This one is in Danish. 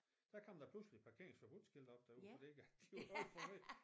Så kom der pludselig et parkerings forbud skilt oppe derude fordi at det var alt for måj